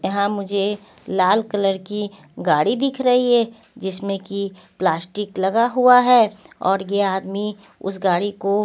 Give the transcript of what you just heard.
यहां मुझे लाल कलर की गाड़ी दिख रही है जिसमें कि प्लास्टिक लगा हुआ है और ये आदमी उस गाड़ी को--